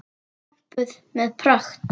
Pompuð með pragt.